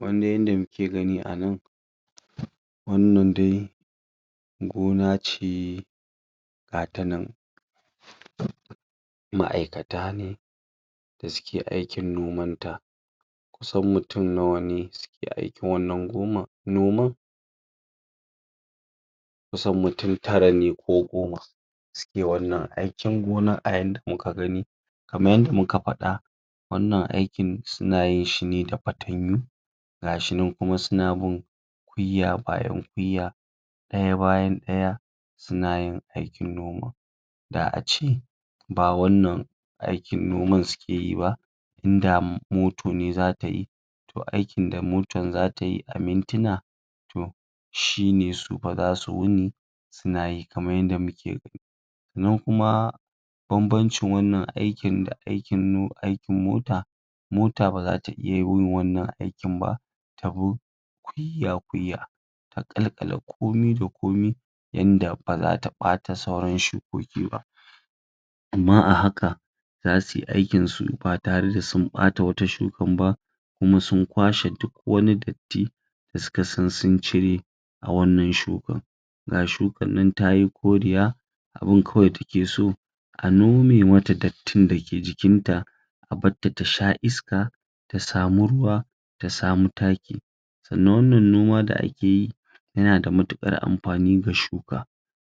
Yanda muke gani a nan wannan dai gona ce gata nan ma'aikata ne dasu ke aikin noman ta kusan mutum nawa ne suke aikin? gonan kusan mutum tara ne ko goma suke wanna aikin gonan a yanda muka gani kaman yadda muka faɗa wannan aikin suna yin shi ne da fatanyu gashinan kuma suna bin kwiya bayan kwiya ɗaya bayan ɗaya suna yin aikin noman Da ace ba wannan aikin noman suke yi ba in da moto ne zata yi to aikin da motan za tayi a mintuna to shine su fa zasu wuni suna yi kaman yanda muke gani sannan kuma bambancin wannan aikin da aikin? aikin mota mota baza ta iya yin wannan aikin ba ta bi kwiya kwiya a ƙalƙale koami da komai yanda baza ta ɓata sauran shukoki ba amma a haka zasu yi aiki su ba tare sun ɓatawata shukan ba kuma sun kwashe duk wani dotti da suka san sun cire a wannan shukan ga shukan nan tayi koriya abunda kawai take so a nome mata dottin da ke jikinta a bar ta ta sha iska ta samu ruwa ta samu taki sannan wannan noma da ake yi yana da matuƙar amfani ga shuka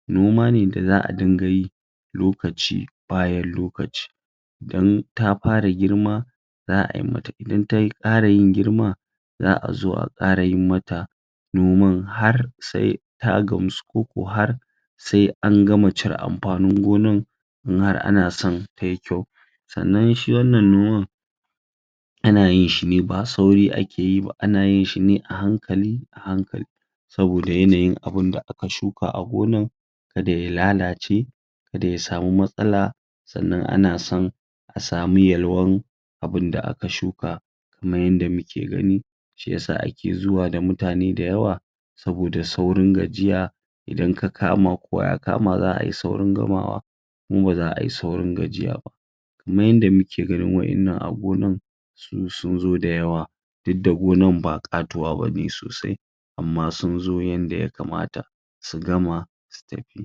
noma ne da za a dinga yi lokaci bayan lokaci Idan ta fara girma za ayi mata. Idan ta ƙara yin girma za a zo a ƙara yi mata noman har sai ta gamsu ko har sai an gama cire amfanin gonan in har ana son tayi kyau Sannan shi wannan noman ana yin shine ba sauri ake yi ba ana yin shine a hankali a hankali saboda yanayin abunda aka shuka a gonan kada ya lalace kada ya samu matsala sannan ana son a samu yalwan abunda aka shuka kaman yanda muke gani shiyasa ake zuwa da mutane dayawa saboda saurin gajiya idan ka kama kowa ya kama za ai saurin gamawa kuma ba za ayi saurin gajiya ba kuma yanda muke ganin wa'innan a gonan in sunzo dayawa duk da gonan ba ƙatuwa bane sosai amma sunzo yanda ya kamata su gama su tafi